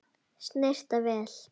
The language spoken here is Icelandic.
Snyrta vel.